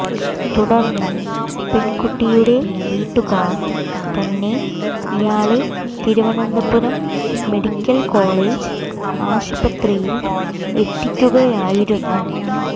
തുടർന്ന് പെൺകുട്ടിയുടെ വീട്ടുകാർ തന്നെ ഇയാളെ തിരുവനന്തപുരം മെഡിക്കൽ കോളേജ് ആശുപത്രിയിൽ എത്തിക്കുകയായിരുന്നു